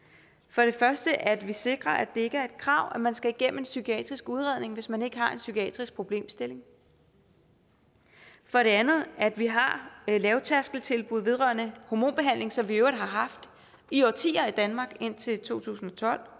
for det første at vi sikrer at det ikke er et krav at man skal igennem en psykiatrisk udredning hvis man ikke har en psykiatrisk problemstilling og for det andet at vi har lavtærskeltilbud vedrørende hormonbehandling som vi i øvrigt har haft i årtier i danmark indtil to tusind og tolv